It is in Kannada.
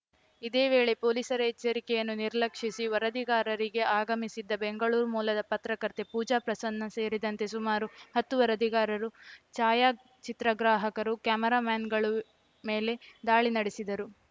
ಇದೇ ವೇಳೆ ಪೊಲೀಸರ ಎಚ್ಚರಿಕೆಯನ್ನು ನಿರ್ಲಕ್ಷಿಸಿ ವರದಿಗಾರಿಕೆಗೆ ಆಗಮಿಸಿದ್ದ ಬೆಂಗಳೂರು ಮೂಲದ ಪತ್ರಕರ್ತೆ ಪೂಜಾ ಪ್ರಸನ್ನ ಸೇರಿದಂತೆ ಸುಮಾರು ಹತ್ತು ವರದಿಗಾರರು ಛಾಯಾಚಿತ್ರಗ್ರಾಹಕರು ಕ್ಯಾಮರಾಮೆನ್‌ಗಳು ಮೇಲೆ ದಾಳಿ ನಡೆಸಿದರು